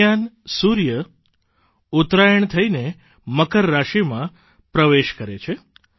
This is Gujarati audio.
દરમિયાન સુર્ય ઉતરાયણ થઇને મકર રાશિમાં પ્રવેશ કરે છે